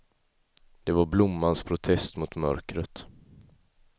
Det var blommans protest mot mörkret.